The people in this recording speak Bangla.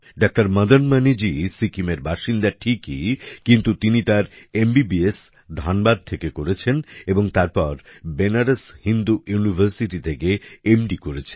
ডাক্তার মদন মণিজী সিক্কিমের বাসিন্দা ঠিকই কিন্তু তিনি তার এমবিবিএস ধানবাদ থেকে করেছেন এবং তারপর বেনারস হিন্দু ইউনিভার্সিটি থেকে এমডি করেছেন